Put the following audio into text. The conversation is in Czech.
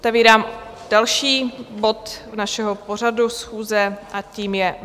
Otevírám další bod našeho pořadu schůze, a tím je